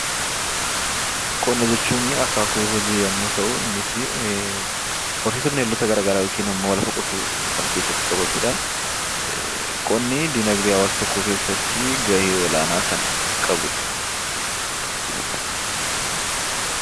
Qonna jechuun akaakuu hojii yommuu ta'u, innis horsiisa bineeldota garaagaraa yookiin immoo lafa qotuu kan of keessatti qabatuu dha. Qonni diinagdee hawaasa tokkoo keessatti gahee olaanaa kan qabu dha.